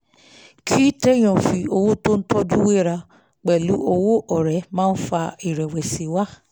kí tèèyàn fi owó tó ń tọ́jú wéra pẹ̀lú owó ọ̀rẹ́ máa ń fa ìrẹ̀wẹ̀sì wá